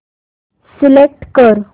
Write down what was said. select कर